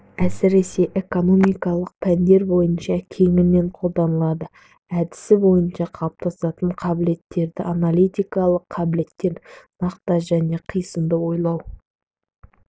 әсіресе экономикалық пәндер бойынша кеңінен қолданылды әдісі бойынша қалыптасатын қабілеттер аналитикалық қабілеттер нақты және қисынды ойлау